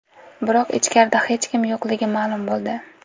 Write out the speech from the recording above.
Biroq ichkarida hech kim yo‘qligi ma’lum bo‘ldi.